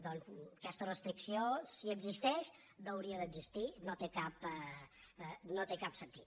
doncs aquesta restricció si existeix no hauria d’existir no té cap sentit